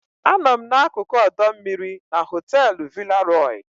Anọ m n'akụkụ ọdọ mmiri na họteelu Villa Roy.